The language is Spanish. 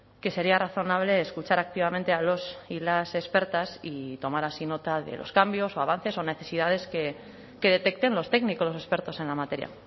que sería razonable escuchar activamente a los y las expertas y tomar así nota de los cambios o avances o necesidades que detecten los técnicos los expertos en la materia